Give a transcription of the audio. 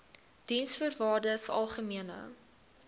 diensvoorwaardesalgemene